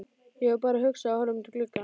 Ég var bara að hugsa og horfa út um gluggann.